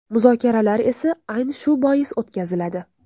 Muzokaralar esa, ayni shu bois o‘tkaziladi.